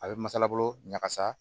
A bɛ masalabolo ɲagasa